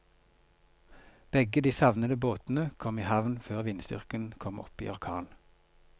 Begge de savnede båtene kom i havn før vindstyrken kom opp i orkan.